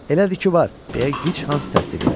Elədir ki var, – deyə Gichans təsdiq elədi.